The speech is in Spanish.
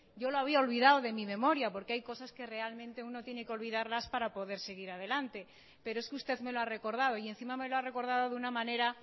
yo lo había olvidado de mi memoria porque hay cosas que realmente uno tiene que olvidarlas para poder seguir adelante pero es que usted me lo ha recordado y encima me lo ha recordado de una manera